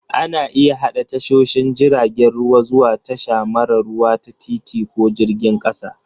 Ana iya haɗa tashoshin jiragen ruwa zuwa tasha mara ruwa ta titi ko jirgin ƙasa